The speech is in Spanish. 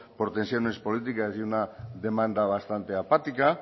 por tensiones políticas y una demanda bastante apática